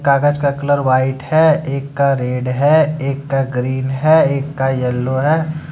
कागज का colour white है एक का रेड है एक का ग्रीन है एक का येलो है।